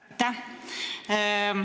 Aitäh!